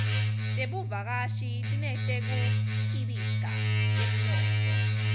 tebuvakashi tineteku khibika temnotfo